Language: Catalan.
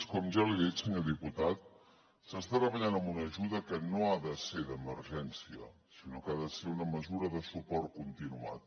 com ja li he dit senyor diputat s’està treballant en una ajuda que no ha de ser d’emergència sinó que ha de ser una mesura de suport continuat